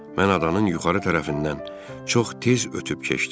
Mən adanın yuxarı tərəfindən çox tez ötüb keçdim.